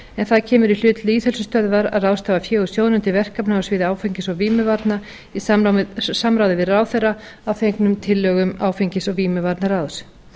en það kemur í hlut lýðheilsustöðvar að ráðstafa fé úr sjóðnum til verkefna á sviði áfengis og vímuvarna í samráði við ráðherra að fengnum tillögum áfengis og vímuvarnaráðs